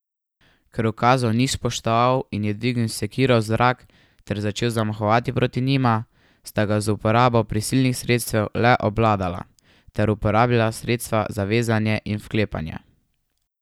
Ker ukazov ni spoštoval in je dvignil sekiro v zrak ter začel zamahovati proti njima, sta ga z uporabo prisilnih sredstev le obvladala ter uporabila sredstva za vezanje in vklepanje.